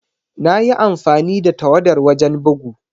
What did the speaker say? Na yi amfani da tawadar wajen bugu.